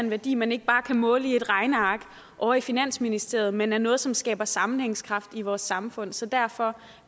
en værdi man ikke bare kan måle i et regneark ovre i finansministeriet men er noget som skaber sammenhængskraft i vores samfund så derfor